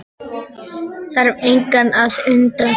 Þarf engan að undra það.